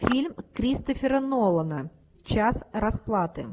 фильм кристофера нолана час расплаты